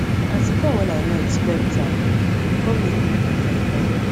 as e com wen i no expect am e com make me clean my parlour